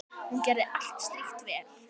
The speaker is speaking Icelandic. Hún gerði allt slíkt vel.